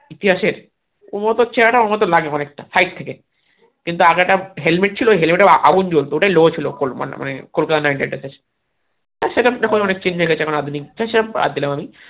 ইতিহাসে ওর ওতো চেহেরা টা ওর মতো লাগে অনেকটা side থেকে কিন্তু আগে একটা হেলমেট ছিল হেলমেটে আগুন জ্বলতো ওটাই লোগো ছিল কলকাতা নাইট রাইডার্স এর তো সেটা ব্যাপারে অনেক change এনেছে এখন আধুনিক সে সেটা ব্যাড দিলাম আমি